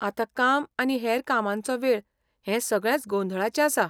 आतां काम आनी हेर कामांचो वेळ हे सगळेंच गोंधळाचें आसा.